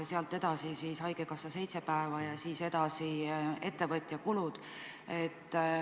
Sealt edasi maksab talle ettevõtja ja seejärel haigekassa.